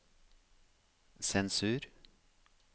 sensur